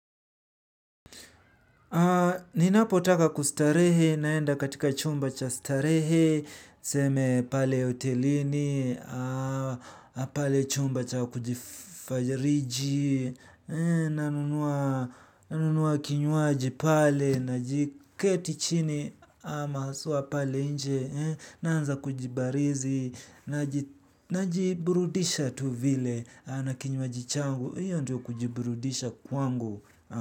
Ninapotaka kustarehe naenda katika chumba cha starehe, seme pale hotelini, pale chumba cha kujifajariji, nanunua kinywaji pale, najiketi chini, ama haswa pale inje, naanza kujibarizi, najiburudisha tu vile, na kinywaji changu, hiyo ndio kujiburudisha kwangu.